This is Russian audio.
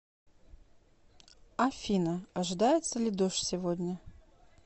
афина ожидается ли дождь сегодня